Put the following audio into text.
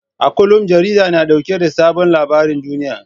A kullum jarida na dauke da sabon labarin duniya.